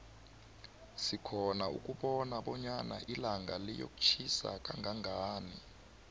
sikhona ukubona bonyana ilanga liyotjhisa kanqanqani